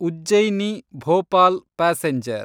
Ujjaini Bhopal passenger